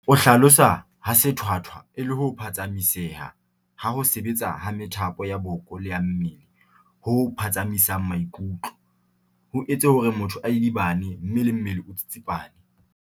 O hlalosa ha sethwathwa e le ho phatsamiseha ha ho sebetsa ha methapo ya boko le ya mmele ho phatsamisang maikutlo, ho etse hore motho a idibane mme le mmele o tsitsipane.